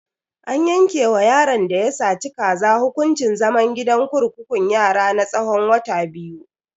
An yanke wa yaron da ya saci kaza hukuncin zaman gidan kurkukun yara na tsawon wata biyu.